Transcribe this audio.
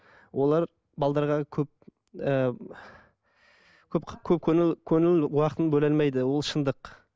олар көп ыыы көп көңіл көңіл уақытын бөле алмайды ол шындық